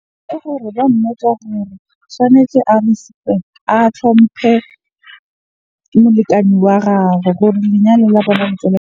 Ke gore ba mmotse hore tshwanetse a a hlomphe molekane wa gagwe hore lenyalo la bona .